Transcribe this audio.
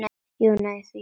Jú og nei og þó.